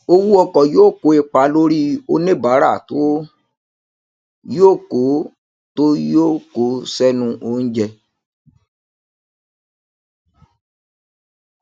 owó ọkọ yóò kó ipa lórí oníbàárà tó yóò kó tó yóò kó sẹnu oúnjẹ